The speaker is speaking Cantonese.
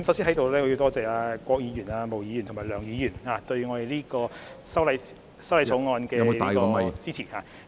主席，我在此先多謝郭議員、毛議員和梁議員對修正案予以支持......